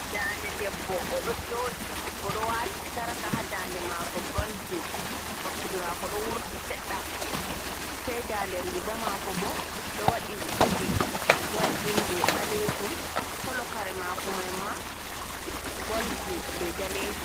Dande debbo o ɗo joɗi o ɗo wati sarka ha dande mako goldin bakkude mako ɗo wurti seɗɗa sei dande riga mako bo ɗo waɗi zubi goldin be ɓalejum kolo kare mako maima goldin be danejum.